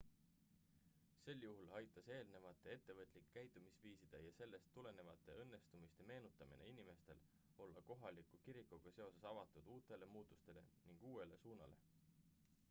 sel juhul aitas eelnevate ettevõtlike käitumisviiside ja sellest tulenevate õnnestumiste meenutamine inimestel olla kohaliku kirikuga seoses avatud uutele muutustele ning uuele suunale